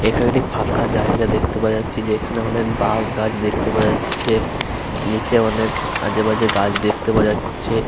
এখানে একটি ফাঁকা জায়গা দেখতে পাওয়া যাচ্ছে যেখানে অনেক বাঁশ গাছ দেখতে পাওয়া যাচ্ছে। নিচে অনেক আজে বাজে গাছ দেখতে পাওয়া যাচ্ছে।